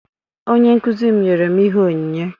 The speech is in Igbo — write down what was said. Onyenkụzi m nyere m ihe onyinye.